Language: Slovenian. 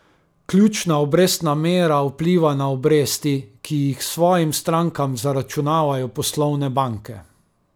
Ključna obrestna mera vpliva na obresti, ki jih svojim strankam zaračunavajo poslovne banke.